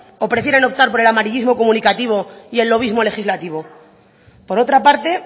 o prefieren optar por el amarillísimo comunicativo y el lobismo legislativo por otra parte